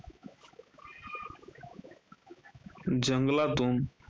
जंगलातुन